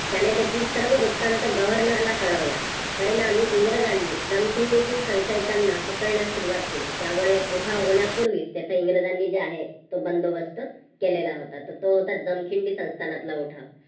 त्यांने तेथील सर्व वृत्तांत governal ला कळवला. परिणामी इंग्रजांनी जमखंडीतील संशयितांना पकडण्यास सुरुवात केली. त्यामुळे उठाव होण्यापूर्वी त्याचा इंग्रजांनी जे आहे तो बंदोबस्त केलेला होता. तर तो होता जमखिंडी संस्थानातला उठाव.